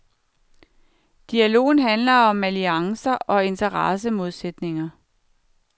Dialogen handler om alliancer og interessemodsætninger.